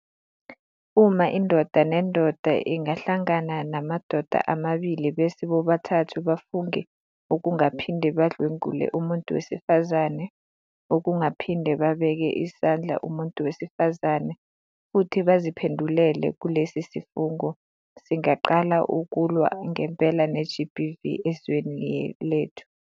Uma indoda nendoda ingahlangana namadoda amabili bese bobathathu bafunge ukungaphinde badlwengule umuntu wesifazane, ukungaphinde babeke isandla umuntu wesifazane futhi baziphendulele kulesi sifungo, singaqala ukulwa ngempela ne-GBV ezweni lethu.